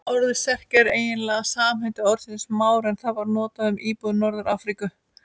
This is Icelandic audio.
Orðið Serki er eiginlega samheiti orðsins Mári en það var notað um íbúa Norður-Afríku.